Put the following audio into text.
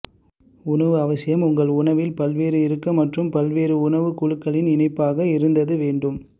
உணவு அவசியம் உங்கள் உணவில் பல்வேறு இருக்க மற்றும் பல்வேறு உணவு குழுக்களின் இணைப்பாக இருந்தது வேண்டும்